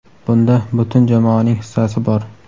bunda butun jamoaning hissasi bor.